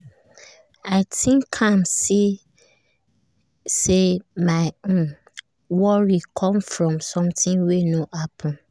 i think am see say my um worry come from something wey no happen